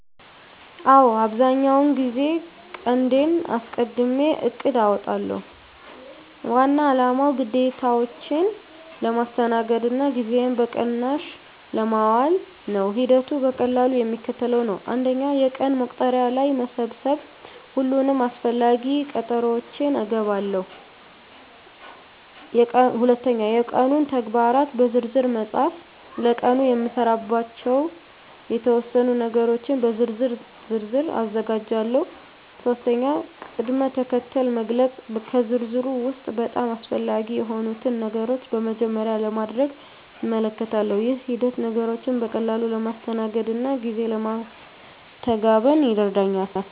አዎ፣ አብዛኛውን ጊዜ ቀንዴን አስቀድሜ እቅድ አውጣለሁ። ዋና አላማው ግዴታዎቼን ለማስተናገድ እና ጊዜዬን በቅናሽ ለማዋል ነው። ሂደቱ በቀላሉ የሚከተለው ነው፦ 1. የቀን መቁጠሪያ ላይ መሰብሰብ ሁሉንም አስፈላጊ ቀጠሮዎቼን እገባለሁ። 2. የቀኑን ተግባራት በዝርዝር መፃፍ ለቀኑ የምሰራባቸውን የተወሰኑ ነገሮች በዝርዝር ዝርዝር አዘጋጃለሁ። 3. ቅድም-ተከተል መግለጽ ከዝርዝሩ ውስጥ በጣም አስፈላጊ የሆኑትን ነገሮች በመጀመሪያ ለማድረግ እመልከታለሁ። ይህ ሂደት ነገሮችን በቀላሉ ለማስተናገድ እና ጊዜ ለማስተጋበን ይረዳኛል።